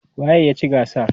waye ya ci gasar?